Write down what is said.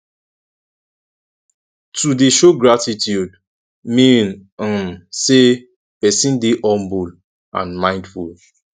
to de show gratitude mean um say persin de humble and mindful